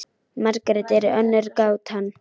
Margrét er önnur gátan til.